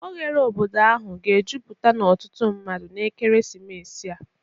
Oghere obodo ahụ ga-ejupụta na ọtụtụ mmadụ na ekeresimesi a.